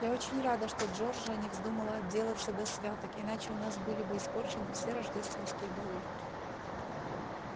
я очень рада что джорджия не вздумала отделяться до святок иначе у нас были бы испорчены все рождественские балы